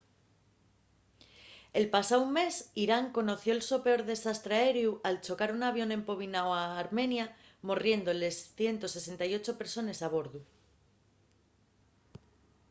el pasáu mes irán conoció’l so peor desastre aereu al chocar un avión empobináu a armenia morriendo les 168 persones a bordu